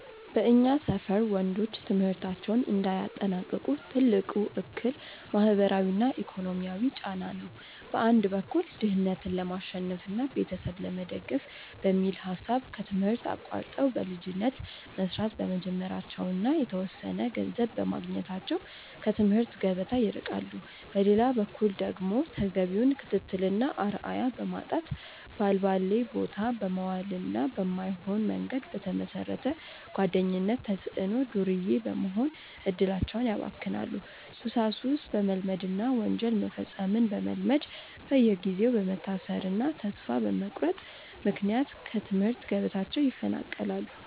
በእኛ ሰፈር ወንዶች ትምህርታቸውን እንዳያጠናቅቁ ትልቁ እክል ማህበራዊና ኢኮኖሚያዊ ጫና ነው። በአንድ በኩል ድህነትን ለማሸነፍና ቤተሰብ ለመደገፍ በሚል ሐሳብ ከትምህርት አቋርጠው በልጅነት መስራት በመጀመራቸውና የተወሰነ ገንዘብ በማግኘታቸው ከትምህርት ገበታ ይርቃሉ። በሌላ በኩል ደግሞ ተገቢውን ክትትልና አርአያ በማጣት፣ ባልባሌቦታ በመዋልና በማይሆን መንገድ በተመሰረተ ጓደኝነት ተጽዕኖ ዱርዬ በመሆን እድላቸውን ያባክናሉ፤ ሱሳሱስ በመልመድና ወንጀል መፈጸምን በመልመድ በየጊዜው በመታሰርና ተስፋ በመቁረጥ ምክንያት ከትምህርት ገበታቸው ይፈናቀላሉ።